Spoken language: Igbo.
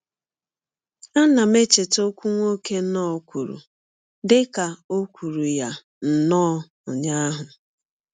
Ana m echeta ọkwụ nwoke Knorr kwuru dị ka ò kwụrụ ya nnọọ ụnyaahụ.